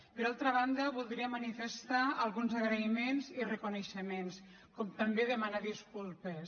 per altra banda voldria manifestar alguns agraïments i reconeixements com també demanar disculpes